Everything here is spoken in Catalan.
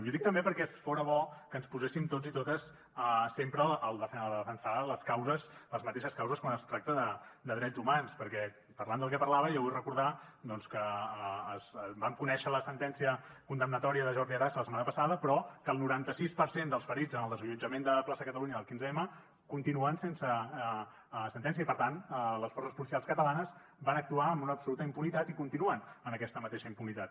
i ho dic també perquè fora bo que ens poséssim tots i totes sempre a defensar les mateixes causes quan es tracta de drets humans perquè parlant del que parlava jo vull recordar doncs que vam conèixer la sentència condemnatòria de jordi arasa la setmana passada però que el noranta sis per cent dels ferits en el desallotjament de la plaça catalunya del quinze m continuen sense sentència i per tant les forces policials catalanes van actuar amb una absoluta impunitat i continuen amb aquesta mateixa impunitat